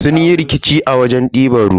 Sun yi rikici a wajen diban ruwa.